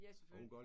Ja selvfølgelig